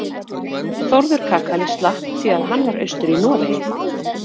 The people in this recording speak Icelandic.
Þórður kakali slapp því að hann var austur í Noregi.